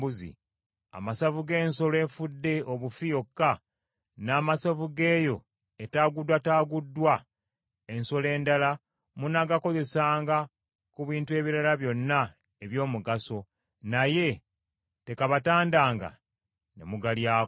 Amasavu g’ensolo efudde obufi yokka, n’amasavu g’eyo etaaguddwataaguddwa ensolo endala munaagakozesanga ku bintu ebirala byonna eby’omugaso, naye tekabatandanga ne mugalyako.